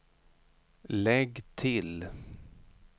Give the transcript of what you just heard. lägg till